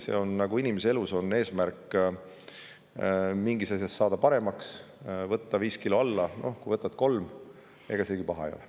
See on nii nagu inimese elus: kui sul on eesmärk mingis asjas saada paremaks, näiteks võtta 5 kilo alla, siis ega see, kui võtad 3 kilo alla, ju ka paha ei ole.